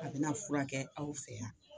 A bi na furakɛ aw fɛ yan